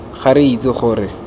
ga re itse gore re